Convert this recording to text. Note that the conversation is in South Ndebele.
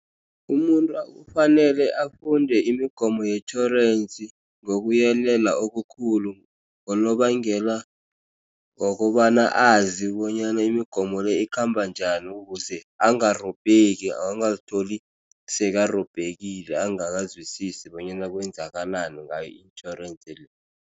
Umuntu kufanele afunde imigomo yetjhorensi ngokuyelela okukhulu ngonobangela wokobana azi bonyana imigomo le ikhamba njani ukuze angarobheki angazitholi sekarobhekile angakazwisisi bonyana kwenzakalani ngayo itjhorensi le.